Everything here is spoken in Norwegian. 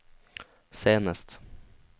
senest